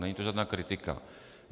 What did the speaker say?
Není to žádná kritika.